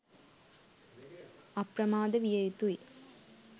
අප්‍රමාද විය යුතු යි.